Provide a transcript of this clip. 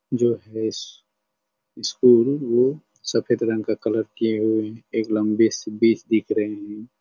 जो है स्टूल वो सफ़ेद रंग का कलर किये हुए हे एक लम्बी सी बीज दिख रही है।